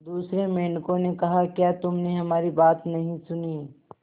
दूसरे मेंढकों ने कहा क्या तुमने हमारी बात नहीं सुनी